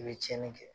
I bɛ tiɲɛni kɛ